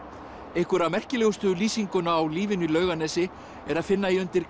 einhverja merkilegustu lýsinguna á lífinu í Laugarnesi er að finna í undir